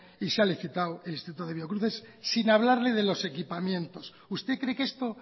y se ha licitado el instituto de biocruces sin hablarle de los equipamientos usted cree que esto